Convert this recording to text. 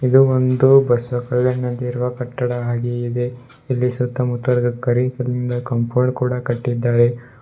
ಇದು ಒಂದು ಬಸವ ಕಲ್ಯಾಣ ನಂದಿರುವ ಕಟ್ಟಡದ ಹಾಗೆ ಇದೆ ಇಲ್ಲಿ ಸುತ್ತ ಮುತ್ತಲಗ ಕರಿ ಕಲ್ಲಿಂದ ಕಾಂಪೌಂಡ್ ಕೂಡ ಕಟ್ಟಿದ್ದಾರೆ.